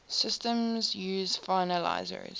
systems use finalizers